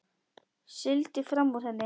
Sigldi fram úr henni.